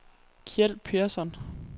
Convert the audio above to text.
Kjeld Persson